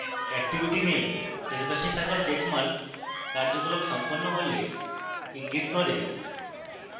activity name এর পাশে থাকা checkmark কার্যকলাপ সম্পন্ন হলে ইঙ্গিত করে